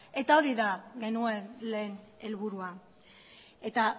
eta hori da genuen lehen helburua eta